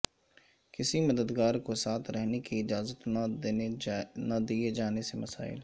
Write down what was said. کسی مددگار کو ساتھ رہنے کی اجازت نہ دئے جانے سے مسائل